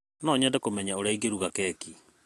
No nyende kũmenya ũrĩa ingĩruga keki.